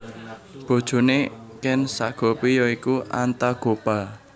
Bojone Ken Sagopi ya iku Antagopa